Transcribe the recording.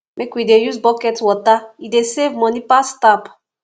make we dey use bucket water e dey save money pass tap